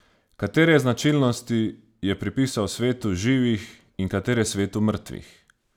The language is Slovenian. Katere značilnosti je pripisal svetu živih in katere svetu mrtvih?